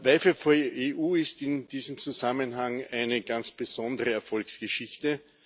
WiFi4EU ist in diesem Zusammenhang eine ganz besondere Erfolgsgeschichte.